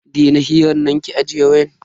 Daina hiran nan ki ajiye wayan.